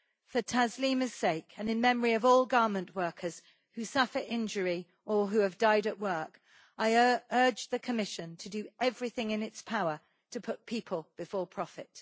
For Taslima's sake, and in memory of all garment workers who suffer injury or who have died at work, I urge the Commission to do everything in its power to put people before profit.